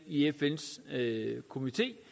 i fns komité